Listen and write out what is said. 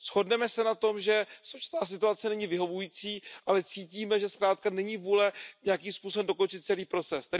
Shodneme se na tom, že současná situace není vyhovující, ale cítíme, že zkrátka není vůle nějakým způsobem dokončit celý proces.